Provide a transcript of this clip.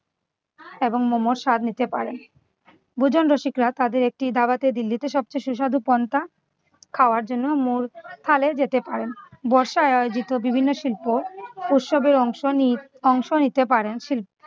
এবং momo র স্বাদ নিতে পারেন। ভোজন রসিকরা তাদের একটি দাওয়াতে দিল্লিতে সবথেকে সুস্বাদু পন্তা খাওয়ার জন্য মোর থালে যেতে পারেন। বর্ষায় আয়োজিত বিভিন্ন শিল্প উৎসবের অংশ নি~ অংশ নিতে পারেন শীল~